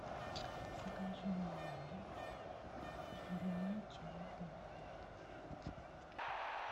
закажи мне на дом зеленый чай гринфилд